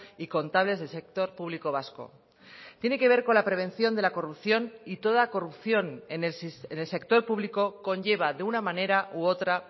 y contables del sector público vasco tiene que ver con la prevención de la corrupción y toda corrupción en el sector público conlleva de una manera u otra